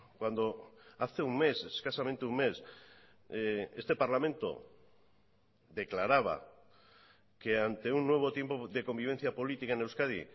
cuando hace un mes escasamente un mes este parlamento declaraba que ante un nuevo tiempo de convivencia política en euskadi